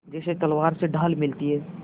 जैसे तलवार से ढाल मिलती है